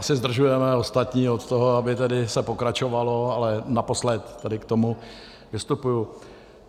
Asi zdržujeme ostatní od toho, aby tedy se pokračovalo, ale naposled tady k tomu vystupuji.